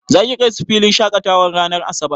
Za ki kai su filin shaƙatawa ranar asabar?